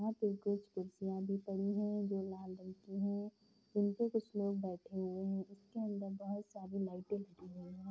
यहाँ पे कुछ कुर्सियां भी पड़ी हैं। जो लाल रंग की हैं। इनपे कुछ लोग बैठे हुए हैं। इसके अंदर बोहोत सारी लाइटे लगी हुई हैं।